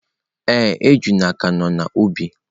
Ee, ejula ka nọ n’ubi.